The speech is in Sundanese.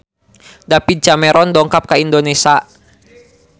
David Cameron dongkap ka Indonesia